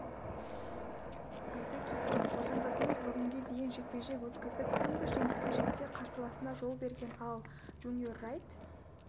айта кетейік отандасымыз бүгінге дейін жекпе-жек өткізіп сында жеңіске жетсе қарсыласына жол берген ал джуниор райт